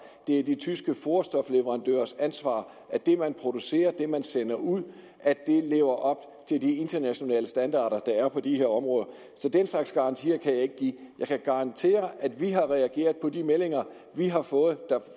det er de tyske foderstofleverandørers ansvar at det de producerer og sender ud lever op til de internationale standarder der er på de her områder så den slags garantier kan jeg ikke give jeg kan garantere at vi har reageret på de meldinger vi har fået